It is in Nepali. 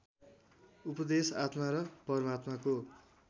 उपदेश आत्मा र परमात्माको